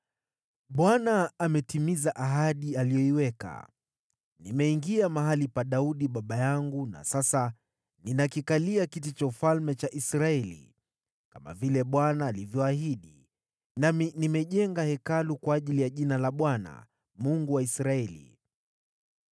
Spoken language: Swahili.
“ Bwana ametimiza ahadi aliyoiweka: Nimeingia mahali pa Daudi baba yangu na sasa ninakikalia kiti cha ufalme cha Israeli, kama vile Bwana alivyoahidi, nami nimejenga Hekalu kwa ajili ya Jina la Bwana , Mungu wa Israeli.